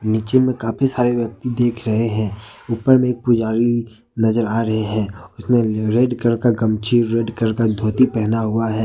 नीचे में काफी सारे व्यक्ति देख रहे हैं ऊपर में पुजारी नजर आ रहे हैं उसने रेड कलर का गमछी रेड कलर का धोती पहना हुआ है।